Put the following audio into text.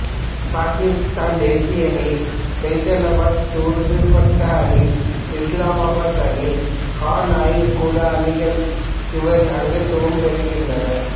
பாக்கிஸ்தான் தேசிய அணி பைசலாபாத் துடுப்பாட்ட அணி இஸ்லாமாபாத் அணி கான் ஆய்வு கூட அணிகளில் இவர் அங்கத்துவம் பெறுகின்றார்